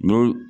N'o